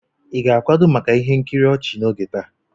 Ị ga-akwado maka ihe nkiri ochi n'oge taa?